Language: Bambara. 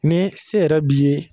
Ni se yɛrɛ b b'i ye,